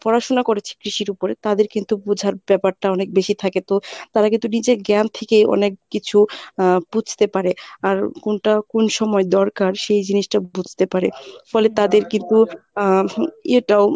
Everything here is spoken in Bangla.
পড়াশুনা করেছে কৃষির ওপরে তাদের কিন্তু বুঝার ব্যাপারটা অনেক বেশি থাকে তো তারা কিন্তু নিজের জ্ঞান থেকে অনেককিছু আহ বুঝতে পারে আর কোনটা কোন সময় দরকার সেই জিনিসটা বুঝতে পারে ফলে তাদের আহ ইয়েটাও